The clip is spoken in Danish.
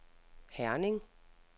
Herning